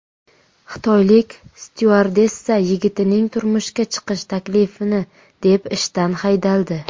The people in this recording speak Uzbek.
Xitoylik styuardessa yigitining turmushga chiqish taklifini deb ishdan haydaldi .